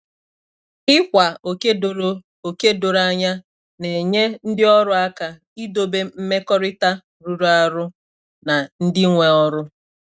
Ì kwa òkè dòrò òkè dòrò ànyà na-ènye ndị òrụ́ àkà ịdòbè m̀mekọ̀rịtà rụrụ arụ̀ na ndị nwe òrụ́.